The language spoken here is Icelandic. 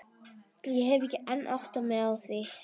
Ég hef enn ekki áttað mig á því.